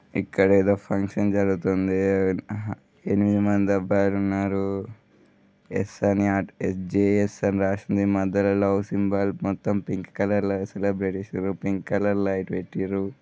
ఇక్కడ ఏదో ఫంక్షన్ జరుగుతుంది. ఆహా ఎనిమిది మంది అబ్బాయిలు ఉన్నారు ఎస్ అని అటు ఎస్_జే_ఎస్ అని రాసి ఉంది మధ్య లో లవ్ సింబల్ మొత్తం పింక్ కలర్ లాగా సెలబ్రేట్ చేసిండ్రు పింక్ కలర్ లైట్ పెట్టిండ్రు.